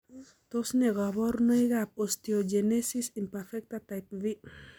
Tos ne kaborunoikab osteogenesis imperfecta type v?